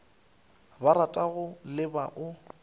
ba ratago le ba o